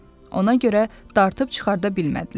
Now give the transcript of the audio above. Ona görə dartıb çıxarda bilmədilər.